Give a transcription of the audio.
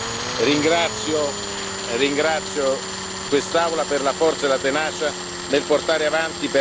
Ringrazio quest'Aula per la forza e la tenacia nel portare avanti per anni una battaglia giusta.